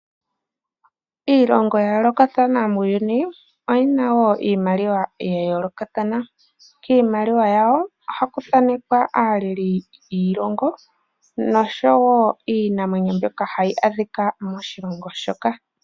Iilongo yayoolokathana muuyuni oyina iimaliwa yayoolokathana. Kiimaliwa yawo ohaku thaanekwa aaleli yiilongo nosho wo iinamwenyo mbyoka hayi adhika moshilongo moka.